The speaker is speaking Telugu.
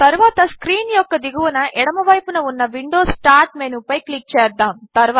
తరువాత స్క్రీన్ యొక్క దిగువన ఎడమవైపున ఉన్న విండోస్ స్టార్ట్ మెనూపై క్లిక్ చేద్దాము